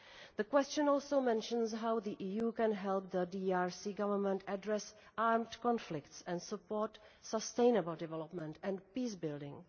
The question also mentions how the EU can help the DRC Government address armed conflicts and support sustainable development and peace-building.